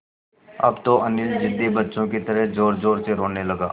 अब तो अनिल ज़िद्दी बच्चों की तरह ज़ोरज़ोर से रोने लगा